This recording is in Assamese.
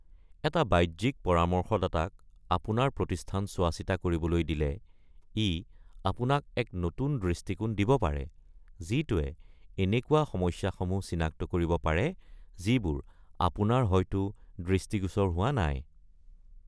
এটা বাহ্যিক পৰামৰ্শদাতাক আপোনাৰ প্ৰতিস্থান চোৱাচিতা কৰিবলৈ দিলে ই আপোনাক এক নতুন দৃষ্টিকোণ দিব পাৰে যিটোৱে এনেকুৱা সমস্যাসমূহ চিনাক্ত কৰিব পাৰে যিবোৰ আপোনাৰ হয়টো দৃষ্টিগোচৰ হোৱা নাই।